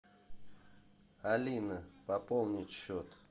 алина пополнить счет